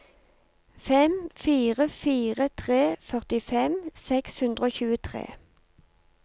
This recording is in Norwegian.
fem fire fire tre førtifem seks hundre og tjuetre